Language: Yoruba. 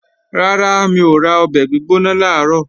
Rárá, mi ò ra ọbẹ̀ gbígbóná làárọ̀